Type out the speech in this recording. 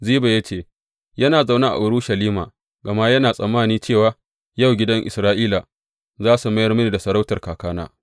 Ziba ya ce, Yana zaune a Urushalima gama yana tsammani cewa, Yau gidan Isra’ila za su mayar mini da sarautar kakana.’